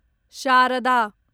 Sharda